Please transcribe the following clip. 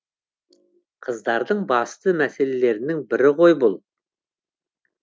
қыздардың басты мәселелерінің бірі ғой бұл